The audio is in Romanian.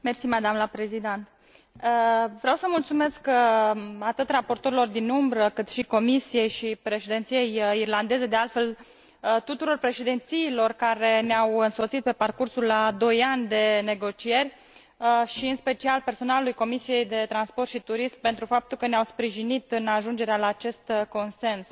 Doamnă președinte, vreau să mulțumesc atât raportorilor din umbră, cât și Comisiei și Președinției irlandeze de altfel, tuturor președințiilor care ne au însoțit pe parcursul a doi ani de negocieri și, în special, personalului Comisiei pentru transport și turism, pentru faptul că ne au sprijinit în ajungerea la acest consens.